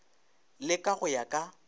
le ka go ya ka